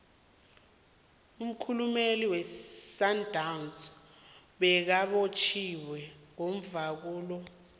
umkhulumeli wesundown bekabotjhiwe ngomvulo lo